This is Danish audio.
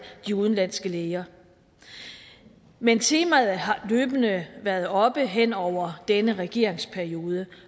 de udenlandske læger men temaet har løbende været oppe hen over denne regeringsperiode